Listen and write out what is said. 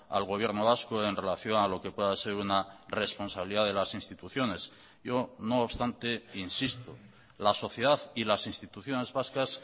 al gobierno vasco en relación a lo que pueda ser una responsabilidad de las instituciones yo no obstante insisto la sociedad y las instituciones vascas